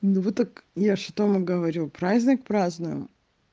ну вот так я что вам говорю праздник празднуем